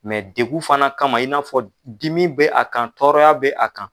degu fana kama i n'a fɔ dimi bɛ a kan tɔɔrɔya bɛ a kan.